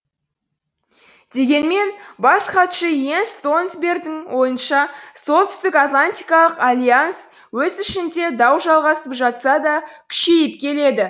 дегенмен бас хатшы и енс столтенбергің ойынша солтүстікатлантикалық альянс өз ішінде дау жалғасып жатса да күшейіп келеді